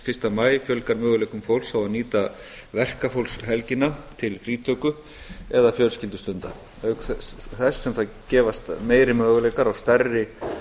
fyrsta maí fjölgar möguleikum fólks á að nýta verkafólkshelgina til frítöku eða fjölskyldustunda auk þess sem það gefast meiri möguleikar á stærri